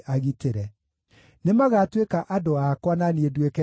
Nĩmagatuĩka andũ akwa na niĩ nduĩke Ngai wao.